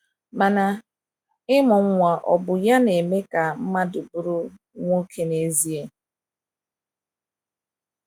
Mana, ịmụ nwa ọ̀ bụ ya na eme ka mmadụ bụrụ nwoke n’ezie?